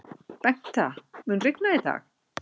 Bengta, mun rigna í dag?